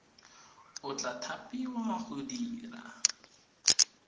o tla thapiwa go dira